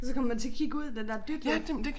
Og så kommer man til at kigge ud den der dytlyd